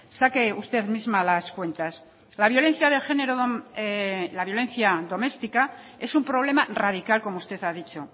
saque usted misma las cuentas la violencia de género la violencia doméstica es un problema radical como usted ha dicho